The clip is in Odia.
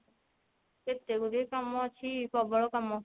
କେତେଗୁଡିଏ କାମ ଅଛି ପ୍ରବଳ କାମ